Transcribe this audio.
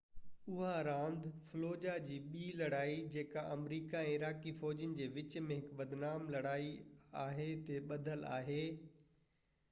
اها راند فلوجاه جي ٻي لڙائي جيڪا آمريڪي ۽ عراقي فوجين جي وچ ۾ هڪ بدنام لڙائي آهي تي ٻڌل آهي